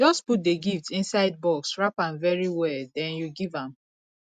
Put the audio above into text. just put the gift inside box wrap am very well den you give am